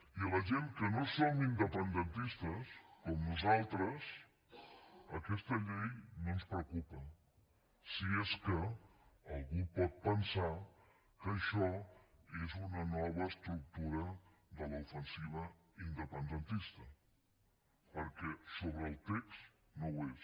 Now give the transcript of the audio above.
i a la gent que no som independentistes com nosaltres aquesta llei no ens preocupa si és que algú pot pensar que això és una nova estructura de l’ofensiva independentista perquè sobre el text no ho és